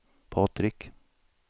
Patrik